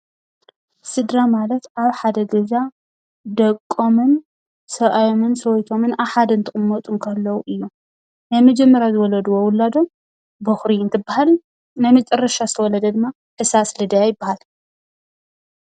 ስድራ ማለት ኣብ ሓደ ገዛ ደቆምን ሰብኣዮምን ሰበይቶም ኣብ ሓደ ገዛ እንትቅመጡ እንተለው ናይ መጀመርያ ዝተወለደ ውላዶም በኹሪ እንትበሃል ናይ መጨረሻ ዝተወለደ ድማ ሕሳስ ልደ ይበሃል።